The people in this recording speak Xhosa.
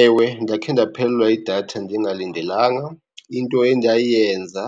Ewe, ndakhe ndaphelelwa yidatha ndingalindelanga. Into endayenza